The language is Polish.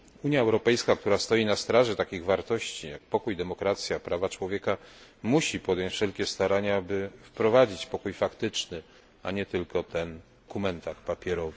Unia Europejska, która stoi na straży takich wartości jak pokój, demokracja, prawa człowieka, musi podjąć wszelkie starania, by wprowadzić pokój faktyczny, a nie tylko ten na papierze.